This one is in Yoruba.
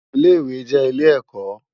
Ilé iwé jè ilé èkò